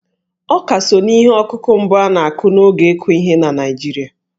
Ọká so n'ihe ọkụkụ mbụ a na-akụ n'oge ịkụ ihe na Naịjirịa..